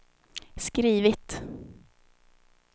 skrivit